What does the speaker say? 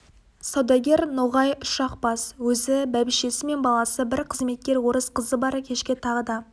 саудагер ноғай үш-ақ бас өзі бәйбішесі мен баласы бір қызметкер орыс қызы бар кешке тағы да